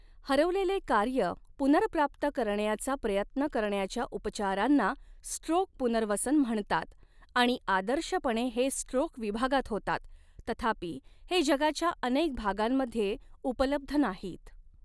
हरवलेले कार्य पुनर्प्राप्त करण्याचा प्रयत्न करण्याच्या उपचारांना स्ट्रोक पुनर्वसन म्हणतात आणि आदर्शपणे हे स्ट्रोक विभागात होतात तथापि, हे जगाच्या अनेक भागांमध्ये उपलब्ध नाहीत.